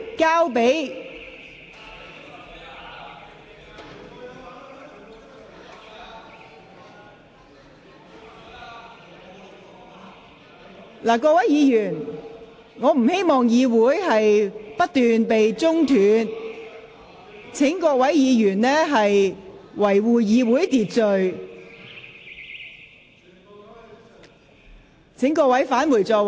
各位議員，我不希望會議過程不斷被打斷，請各位議員遵守會議秩序，返回座位。